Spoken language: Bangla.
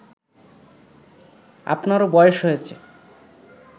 আপনারও বয়স হয়েছে